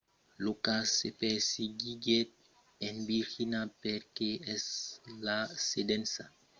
lo cas se perseguiguèt en virgínia perque es la sedença del principal fornisseire de servicis d'internet aol l'entrepresa a l'origina las acusacions